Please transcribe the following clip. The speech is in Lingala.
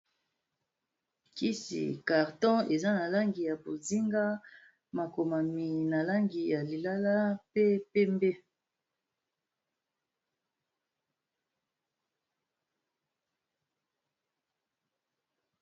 Kisi carton eza na langi ya bozinga makomami na langi ya lilala pe pembe.